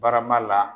Barama la